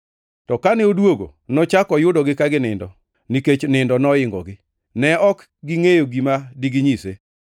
To kane odwogo, nochako oyudogi ka ginindo, nikech nindo noingogi. Ne ok gingʼeyo gima diginyise.